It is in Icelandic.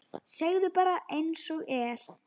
Segðu bara einsog er.